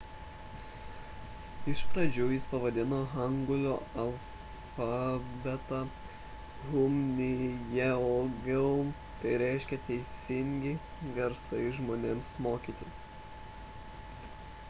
iš pradžių jis pavadino hangulio alfabetą hunminjeongeum tai reiškia teisingi garsai žmonėms mokyti